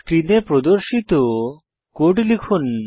স্ক্রিনে প্রদর্শিত কোড লিখুন